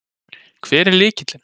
Hver er lykillinn?